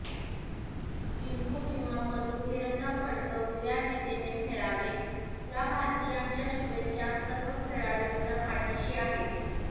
जिंकू किंवा मरू तिरंगा फडकवू या जिद्दीने खेळावे या भारतीयांच्या शुभेच्छा सर्व खेळाडूंच्या पाठीशी आहेत